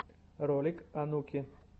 ролик онуки